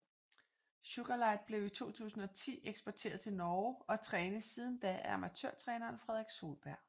Sugarlight blev i 2010 eksporteret til Norge og trænes siden da af amatørtræneren Fredrik Solberg